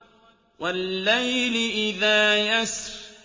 وَاللَّيْلِ إِذَا يَسْرِ